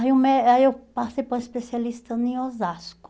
aí o mé Aí eu passei para o especialista em Osasco.